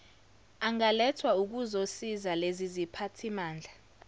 angalethwa ukuzosiza leziziphathimandla